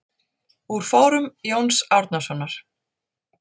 Úr fórum Jóns Árnasonar.